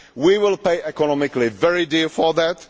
We will pay economically very dearly for that.